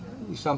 í